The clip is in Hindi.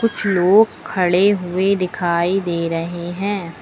कुछ लोग खड़े हुए दिखाई दे रहे हैं।